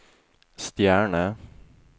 stjerne